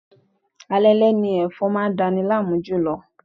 Alaalẹ́ ni ẹ̀fọn máa dani láàmú jùlọ.